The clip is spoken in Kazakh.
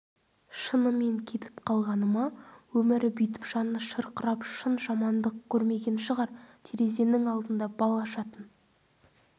шынымен кетіп қалғаны ма өмірі бүйтіп жаны шырқырап шын жамандық көрмеген шығар терезенің алдында бал ашатын